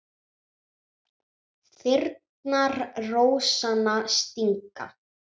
Þyrnar rósanna stinga.